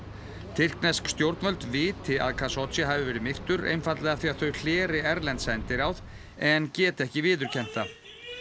tyrknesk stjórnvöld viti að hafi verið myrtur einfaldlega af því að þau hleri erlend sendiráð en geti ekki viðurkennt það